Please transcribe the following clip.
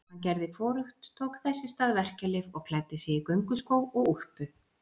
Hann gerði hvorugt, tók þess í stað verkjalyf og klæddi sig í gönguskó og úlpu.